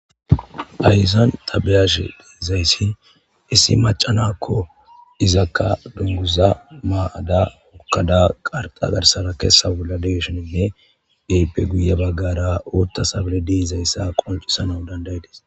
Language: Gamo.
Hayssan ta beyashe dizayssi issi maca nakko izakka dunguza ma'ada hokkada qarxa garsara keessa bolla de'ishininne eype guye baggara oottazabeydei'zayssa qoncisanaw danda'idees